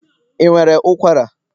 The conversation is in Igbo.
ị nwere ụkwara?